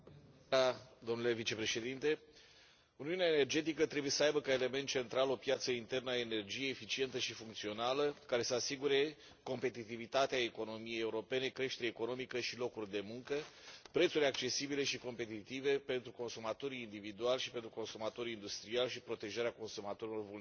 Domnule președinte, uniunea energetică trebuie să aibă ca element central o piață internă a energiei eficientă și funcțională, care să asigure competitivitatea economiei europene, creștere economică și locuri de muncă, prețuri accesibile și competitive pentru consumatorii individuali și pentru consumatorii industriali și protejarea consumatorilor vulnerabili.